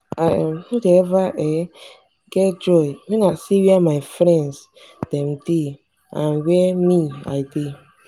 i um no dey eva um get joy when i see where my friends dem dey and where me i dey.